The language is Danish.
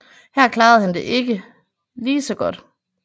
Her klarede han sig ikke lige så godt